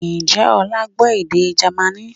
Ǹjẹ́ ọlá gbọ́ èdè Jamaní?